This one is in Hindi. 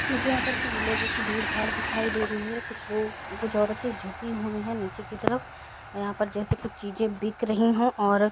मुझे यहां पर लोगों की भीड़-भाड़ दिखाई दे रही है कुछ लोग कुछ औरतें झुकी हुई हैं नीचे की तरफ यहां पर जैसे कुछ चीज़ें बिक रही हो और --